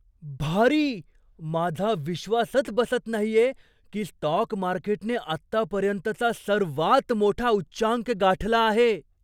भारी, माझा विश्वासच बसत नाहीये की स्टॉक मार्केटने आत्तापर्यंतचा सर्वात मोठा उच्चांक गाठला आहे!